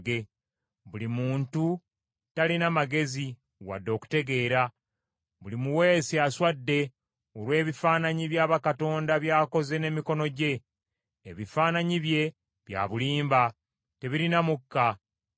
“Buli muntu talina magezi wadde okutegeera; Buli muweesi aswadde olw’ebifaananyi bya bakatonda by’akoze n’emikono gye. Ebifaananyi bye bya bulimba; tebirina mukka.